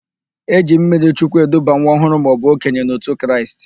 E ji mmirichukwu eduba nwa ọhụrụ maọbụ okenye n'òtù Kraịst.